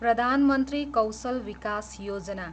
Pradhan Mantri Kaushal Vikas Yojana